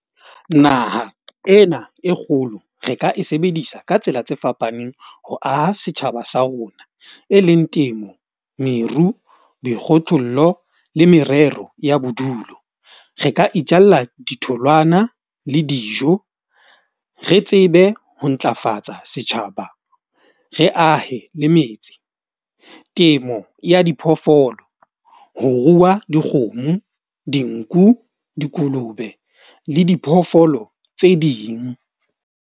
Naha ena e kgolo re ka e sebedisa ka tsela tse fapaneng ho aha setjhaba sa rona, e leng temo, meru, dikgothollo le merero ya bodulo. Re ka itjalla ditholwana le dijo re tsebe ho ntlafatsa setjhaba. Re ahe le metsi, temo ya diphoofolo, ho ruwa dikgomo, dinku, dikolobe le diphoofolo tse ding.